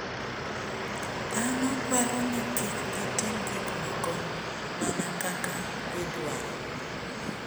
Dhano dwaro ni kik gitim gik moko mana kaka gidwaro.